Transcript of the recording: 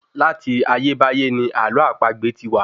Láti ayébáyé ní àlọ́ àpagbè ti wà